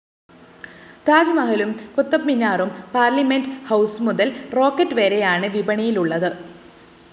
താജ്മഹലും കുത്തബ്മീനാറും പാർലമെന്റ്‌ ഹൗസുമുതല്‍ റോക്കറ്റ്‌ വരെ യാണ് വിപണിയിലുള്ളത്